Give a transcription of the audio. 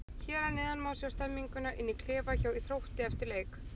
Hér að neðan má sjá stemninguna inn í klefa hjá Þrótti eftir leik.